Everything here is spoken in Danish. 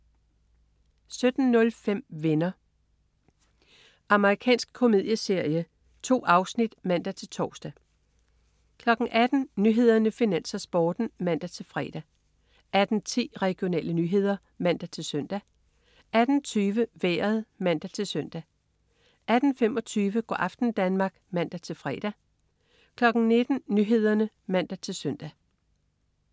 17.05 Venner. Amerikansk komedieserie. 2 afsnit (man-tors) 18.00 Nyhederne, Finans, Sporten (man-fre) 18.10 Regionale nyheder (man-søn) 18.20 Vejret (man-søn) 18.25 Go' aften Danmark (man-fre) 19.00 Nyhederne (man-søn)